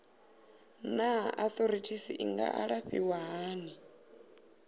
naa arthritis i nga alafhiwa hani